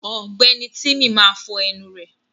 Ọ̀gbẹ́ni tímí máa fọ ẹnu rẹ̀.